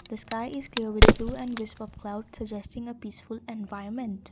the sky is blue and with clouds suggesting a peaceful environment.